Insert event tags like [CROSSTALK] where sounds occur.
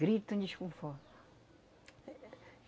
Grito em [UNINTELLIGIBLE]